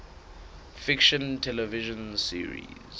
fiction television series